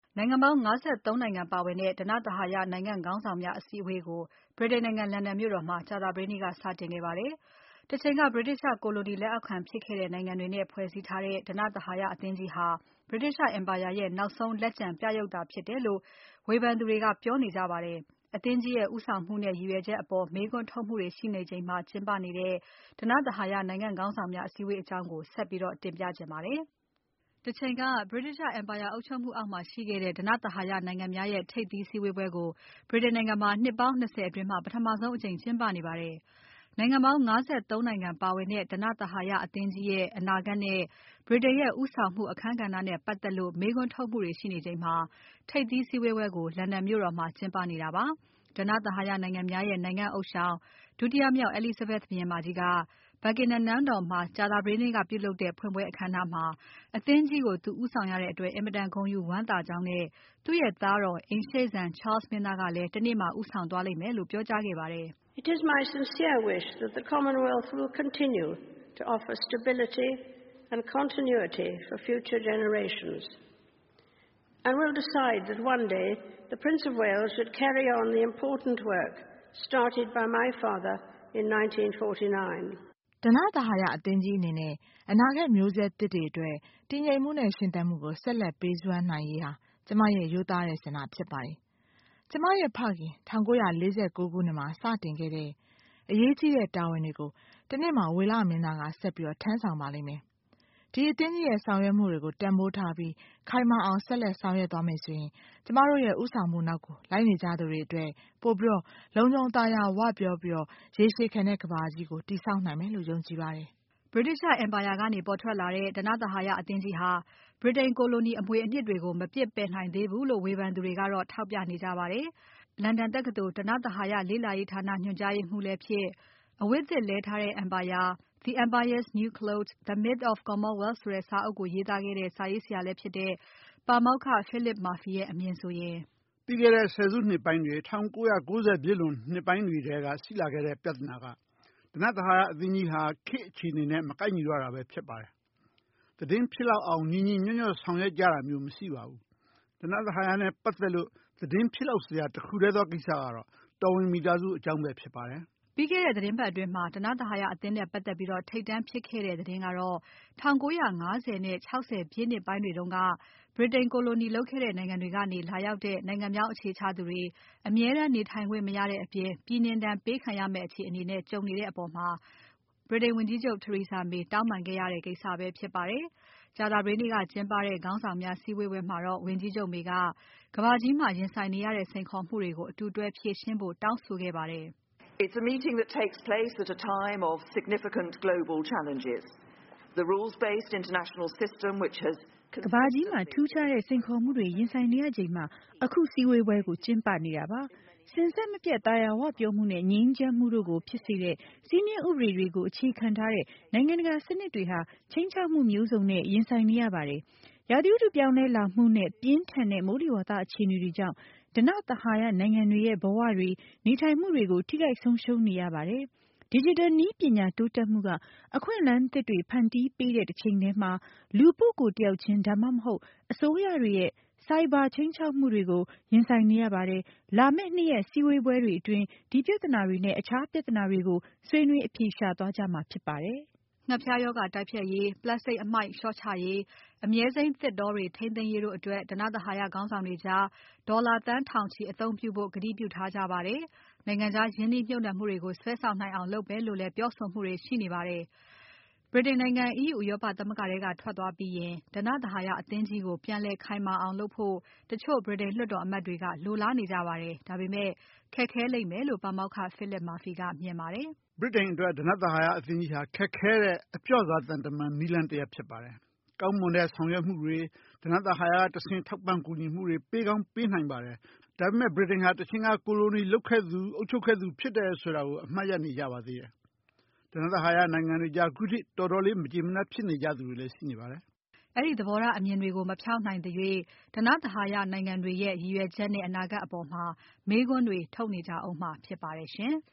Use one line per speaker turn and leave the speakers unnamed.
နိုင်ငံပေါင်း ၅၃ နိုင်ငံပါဝင်တဲ့ ဓနသဟာယနိုင်ငံ့ ခေါင်းဆောင်များအစည်းအဝေးကို ဗြိတိန်နိုင်ငံ လန်ဒန်မြို့တော်မှာ ကြာသပတေးနေ့က စတင်ခဲ့ပါတယ်။ တချိန်က ဗြိတိသျှကိုလိုနီလက်အောက်ခံဖြစ်ခဲ့တဲ့နိုင်ငံများနဲ့ ဖွဲ့စည်းထားတဲ့ ဓနသဟာယ အသင်းကြီးဟာ ဗြိတိသျှအင်ပါယာရဲ့ နောက်ဆုံးလက်ကျန် ပြရုပ်သာဖြစ်တယ်လို့ ဝေဖန်သူတွေက ပြောနေကြပါတယ်။ အသင်းကြီးရဲ့ ဦးဆောင်မှုနဲ့ ရည်ရွယ်ချက်အပေါ် မေးခွန်းထုတ်မှုတွေရှိနေချိန်မှာ ကျင်းပနေတဲ့ ဓနသဟာယနိုင်ငံခေါင်းဆောင်များ အစည်းအဝေး အကြောင်းကို မစုမြတ်မွန်က ဆက်ပြီးတင်ပြထားပါတယ်။ တချိန်က ဗြိတိသျှအင်ပါယာအုပ်ချုပ်မှုအောက်မှာရှိခဲ့တဲ့ ဓနသဟာယနိုင်ငံများရဲ့ ထိပ်သီးစည်းဝေးပွဲကို ဗြိတိန်နိုင်ငံမှာ နှစ်ပေါင်း ၂၀ အတွင်း ပထမဆုံးအကြိမ် ကျင်းပနေပါတယ်။ နိုင်ငံပေါင်း ၅၃ နိုင်ငံပါဝင်တဲ့ ဓနသဟာယအသင်းကြီးရဲ့ အနာဂါတ်နဲ့ ဗြိတိန်ရဲ့ခေါင်းဆောင်မှု အခန်းကဏ္ဍနဲ့ပါတ်သက်လို့ မေးခွန်းထုတ်မှုတွေရှိနေချိန်မှာ ထိပ်သီးစည်းဝေးပွဲကို လန်ဒန်မြို့တော်မှာ ကျင်းပနေတာပါ။ ဓနသဟာယနိုင်ငံများရဲ့ နိုင်ငံဥသျှောင် ဒုတိယမြောက် Elizabeth ဘုရင်မကြီးက Buckingham နန်းတော်မှာကြာသပတေးနေ့ကပြုလုပ်တဲ့ ဖွင့်ပွဲအခမ်းအနားမှာ အသင်းကြီးကို သူဦးဆောင်ရတဲ့အတွက် အင်မတန်ဝမ်းသာ ဂုဏ်ယူကြောင်းနဲ့ သူ့ရဲ့သားတော် အိမ်ရှေ့စံ Charles မင်းသားကလည်း တနေ့မှာ ဦးဆောင်သွားမယ်လို့ ပြောကြားခဲ့ပါတယ်။
"
ဓနသဟာယအသင်းကြီးအနေနဲ့ အနာဂါတ်မျိုးဆက်သစ်တွေအတွက် တည်ငြိမ်မှုနဲ့ ရှင်သန်မှုကို ဆက်လက်ပေးစွမ်းနိုင်ရေးဟာ ကျွန်မရဲ့ ရိုးသားတဲ့ဆန္ဒဖြစ်ပါတယ်။ ကျွန်မရဲ့ ဖခင် 1949 ခုနှစ်မှာ စတင်ခဲ့တဲ့ အရေးကြီးတဲ့ တာဝန်တွေကို တနေ့မှာ ဝေလမင်းသားက ဆက်ပြီးထမ်းဆောင်ပါလိမ့်မယ်။ ဒီအသင်းကြီးရဲ့ ဆောင်ရွက်မှုတွေကို တန်ဖိုးထားပြီး ခိုင်မာအောင်ဆက်လက်ဆောင်ရွက်သွားမယ်ဆိုရင် ကျွန်မတို့ရဲ့ ဦးဆောင်မှုနောက်ကို လိုက်နေကြသူတွေအတွက် ပိုပြီး လုံခြုံ သာယာဝပြောပြီး ရေရှည်ခံတဲ့ ကမ္ဘာကြီးကို တည်ဆောင်နိုင်မယ်လို့ ယုံကြည်ပါတယ်။" ဗြိတိသျှအင်ပါယာ
ကနေ ပေါ်ထွက်လာတဲ့ ဓနသဟာယအသင်းကြီးဟာ ဗြိတိန်ကိုလိုနီအမွေအနှစ်တွေကို မပစ်ပယ်နိုင်သေးဘူးလို့ ဝေဖန်သူတွေကတော့ ထောက်ပြနေကြပါတယ်။ လန်ဒန်တက္ကသိုလ် ဓနသဟာယလေ့လာရေးဌာနညွှန်ကြားရေးမှူးလည်းဖြစ်။ အဝတ်သစ်လဲထားတဲ့ အင်ပါယာ The Empire's New Clothes: The Myth of the Commonwealth ဆိုတဲ့စာအုပ်ကို ရေးသားခဲ့တဲ့ စာရေးဆရာလည်းဖြစ်တဲ့ ပါမောက္ခ Philip Murphy ရဲ့ အမြင်ဆိုရင်
"ပြီးခဲ့တဲ့ ဆယ်စုနှစ်ပိုင်းတွေ ၁၉၉၀ ပြည့်နှစ်ပိုင်းတွေထဲက ရှိခဲ့တဲ့ ပြဿနာက ဓနသဟာယအသင်းကြီးဟာ ခေတ်အခြေအနေနဲ့ မကိုက်ညီတော့တာပဲဖြစ်ပါတယ်။ သတင်းဖြစ်လောက်အောင် ညီညီညွတ်ညွတ်ဆောင်ရွက်ကြတာမျိုး မရှိပါဘူး။ ဓနသဟာယနဲ့ပါတ်သက်လို့ သတင်းဖြစ်လောက်စရာ တခုတည်းသောကိစ္စက တော်ဝင်မိသားစုအကြောင်းပဲဖြစ်ပါတယ်။
" ပြီးခဲ့တဲ့သီတင်းပါတ်အတွင်း ဓနသဟာယအသင်းနဲ့ပါတ်သက်ပြီး ထိပ်တန်းဖြစ်ခဲ့တဲ့ သတင်းကတော့ 1950 နဲ့ 60 ပြည့်နှစ်ပိုင်းတွေတုန်းက ဗြိတိန်ကိုလိုနီလုပ်ခဲ့တဲ့နိုင်ငံတွေ ကရောက်လာတဲ့ နိုင်ငံပြောင်းအခြေချသူတွေ အမြဲတမ်းနေထိုင်ခွင့်မရတဲ့အပြင် ပြည်နှင်ဒဏ်ပေးခံရမယ့်အခြေအနေနဲ့ ကြုံနေတဲ့အပေါ် ဝန်ကြီးချုပ် Theresa May တောင်းပန်းခဲ့ရတဲ့ ကိစ္စပဲဖြစ်ပါတယ်။ ကြာသပတေးနေ့က ကျင်းပတဲ့ ခေါင်းဆောင်များစည်းဝေးပွဲမှာတော့ဝန်ကြီးချုပ် May က ကမ္ဘာကြီးမှာရင်ဆိုင်နေရတဲ့ စိန်ခေါ်မှုတွေကို အတူတွဲဖြေရှင်းဖို့ တောင်းဆိုခဲ့ပါတယ်။ "
ကမ္ဘာကြီးမှာ ထူးခြားတဲ့ စိန်ခေါ်မှုတွေရင်ဆိုင်နေရချိန်မှာ အခုစည်းဝေးပွဲကို ကျင်းပနေတာပါ။ စဉ်ဆက်မပြတ် သာယာဝပြောမှုနဲ့ ငြိမ်းချမ်းမှုတို့ကို ဖြစ်စေတဲ့ စည်းမျဉ်းဥပဒေတွေကို အခြေခံထားတဲ့ နိုင်ငံတကာစနစ်တွေဟာ ခြိမ်းခြောက်မှုမျိုးစုံနဲ့ ရင်ဆိုင်နေရပါတယ်။ ရာသီဥတုပြောင်းလဲလာမှုနဲ့ ပြင်းထန်တဲ့ မိုးလေဝသ အခြေအနေတွေကြောင့် ဓနသဟာယနိုင်ငံတွေရဲ့ ဘဝတွေ နေထိုင်မှုတွေကို ထိခိုက်ဆုံးရှုံးနေရပါတယ်။ Digital နည်းပညာတိုးတက်မှုက အခွင့်အလမ်းသစ်တွေ ဖန်တီးပေးတဲ့တချိန်ထဲမှာ လူပုဂ္ဂိုလ်တယောက်ချင်း ဒါမှမဟုတ်အစိုးရတွေရဲ့ ဆိုင်ဘာခြိမ်းခြောက်မှုတွေကို ရင်ဆိုင်နေရပါတယ်။ လာမယ့် ၂ ရက်စည်းဝေးပွဲတွေအတွင်း ဒီပြဿနာတွေနဲ့ တခြားပြဿနာတွေကို ဆွေးနွေးအဖြေရှာသွားကြမှာဖြစ်ပါတယ်
။" ငှက်ဖျားရောဂါတိုက်ဖျက်ရေး။ ပလတ်စတစ်အမှိုက်လျော့ချရေး။ အမြဲစိမ်းသစ်တောတွေ ထိမ်းသိန်းရေးတို့အတွက် ဓနသဟာယခေါင်းဆောင်တွေကြား ဒေါ်လာသန်းထောင်ချီအသုံးပြုဖို့ ကတိပြုထားကြပါတယ်။ နိုင်ငံခြားရင်းနှီးမြှုပ်နှံမှုတွေကို စွဲဆောင်နိုင်အောင်လုပ်မယ်လို့လည်း ပြောဆိုမှုတွေရှိနေပါတယ်။ ဗြိတိန်နိုင်ငံ EU ဥရောပသမဂ္ဂထဲက ထွက်သွားပြီးရင် ဓနသဟာယအသင်းကြီးကို ပြန်လည်း ခိုင်မာအောင်လုပ်ဖို့ တချို့ဗြိတိန်လွှတ်တော်အမတ်တွေက လိုလားနေကြပါတယ်။ ဒါပေမဲ့ ခက်ခဲလိမ့်မယ့်လို့ ပါမောက္ခ Philip Murphy ကပြောပါတယ်။ "
ဗြိတိန်အတွက် ဓနသဟာယအသင်းကြီးဟာ ခက်ခဲတဲ့ အပျော့စား သံတမန်နည်းလမ်း တရပ်ဖြစ်ပါတယ်။့ ကောင်းမွန်တဲ့ ဆောင်ရွက်မှုတွေ။ ဓနသဟဟာယကတဆင့် ထောက်ပံ့ကူညီမှုတွေကို ပေးကောင်းပေးနိုင်ပါတယ်။ ဒါပေမဲ့ ဗြိတိန်ဟာ တချိန်က ကိုလိုနီလုပ်ခဲ့သူ အုပ်ချုပ်ခဲ့သူတွေဖြစ်တယ်ဆိုတာ အမှတ်ရနေကြပါတယ်။ ဓနသဟာယနိုင်ငံတွေကြား ခုထိ တော်တော်လေးမကျေနပ်ကြသူတွေလည်း ရှိပါတယ်။
" အဲဒီသဘောထားအမြင်မျိုးတွေကို မဖျောက်နိုင်သေးသရွေ့ ဓနသဟာယနိုင်ငံတွေရဲ့ ရည်ရွယ်ချက်နဲ့ အနာဂါတ်အပေါ်မှာ မေးခွန်းတွေ ထုတ်နေကြဦးမှာဖြစ်ပါတယ်ရှင်။